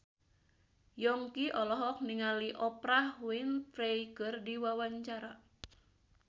Yongki olohok ningali Oprah Winfrey keur diwawancara